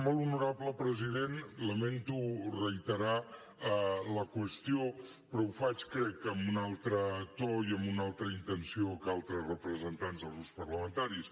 molt honorable president lamento reiterar la qüestió però ho faig crec amb un altre to i amb una altra intenció que altres representants dels grups parlamentaris